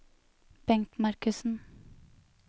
Bengt Markussen